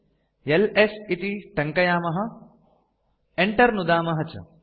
LS टङ्कयामः Enter नुदामः च